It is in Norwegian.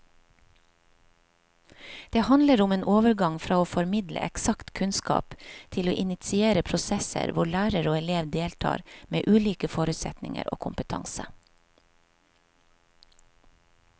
Det handler om en overgang fra å formidle eksakt kunnskap til å initiere prosesser hvor lærer og elev deltar med ulike forutsetninger og kompetanse.